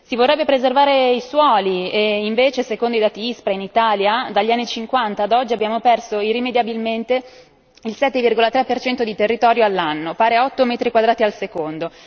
Si vorrebbero preservare i suoli e invece secondo i dati Ispra in Italia dagli anni Cinquanta ad oggi abbiamo perso irrimediabilmente il 7,3 per cento di territorio all'anno, pari a 8 metri quadrati al secondo.